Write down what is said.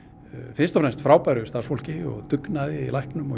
fyrst og fremst frábæru starfsfólki og dugnaði í læknum og